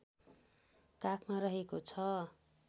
काखमा रहेको छ